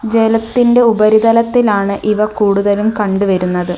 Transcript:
ജലത്തിൻ്റെ ഉപരിതലത്തിലാണ് ഇവ കൂടുതലും കണ്ടുവരുന്നത്.